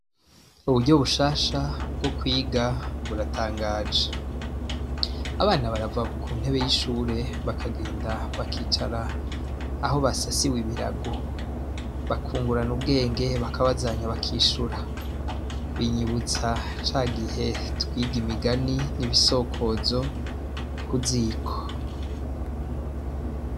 Uburyo bushasha bwo kwiga buratangaje abana barava ku ntebe y'ishure bakagenda bakicara aho basasiwe ibiragu bakungurana ubwenge bakabazanya bakishura binyibutsa ca gihe twiga imigani n'ibisokozo kuziko.